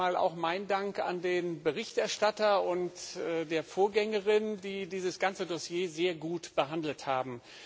Zunächst einmal auch meinen Dank an den Berichterstatter und die Vorgängerin, die dieses ganze Dossier sehr gut behandelt haben.